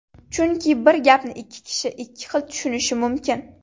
Chunki bir gapni ikki kishi ikki xil tushunishi mumkin.